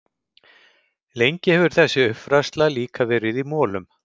Lengi hefur þessi uppfræðsla líka verið í molum.